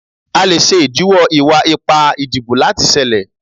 A le ṣe idiwọ iwa-ipa idibo lati ṣẹlẹ